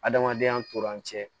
Adamadenya nanzɛ